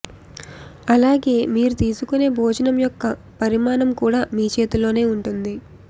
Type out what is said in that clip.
అలాగే మీరు తీసుకొనే భోజనం యొక్క పరిమాణం కూడా మీ చేతిలోనే ఉంటుంది